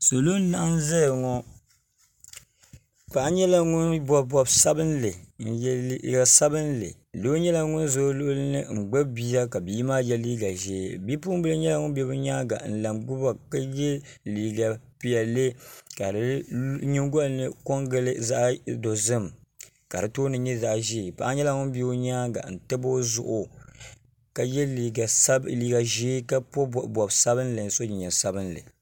salo n laɣam ʒɛya ŋo paɣa nyɛla ŋun bob bob sabinli n yɛ liiga sabinli doo nyɛla ŋun ʒɛ o luɣuli ni n gbubi bia ka bia maa yɛ liiga ʒiɛ Bipuɣunbili nyɛla ŋun bɛ bi nyaanga ka yɛ liiga piɛlli ka di nyingoli ni ko n gili zaɣ dozim ka di tooni nyɛ zaɣ ʒiɛ paɣa nyɛla ŋun bɛ o nyaanga ntabi o zuɣu ka yɛ liiga ʒiɛ ka bob bob sabinli ka so jinjɛm sabinli